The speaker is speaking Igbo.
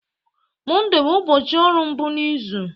Mọnde bụ ụbọchị ọrụ mbụ n'izu.